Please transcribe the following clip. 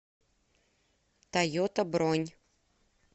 тойота бронь